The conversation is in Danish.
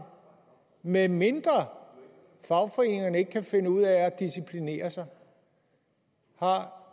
medmindre fagforeningerne ikke kan finde ud af at disciplinere sig har